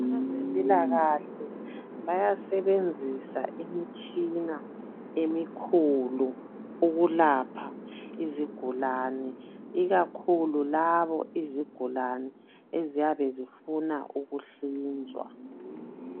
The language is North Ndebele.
Abezempilakahle bayasebenzisa imitshina emikhulu ukulapha izigulani ikakhulu labo izigulani eziyabe zifuna ukuhlinzwa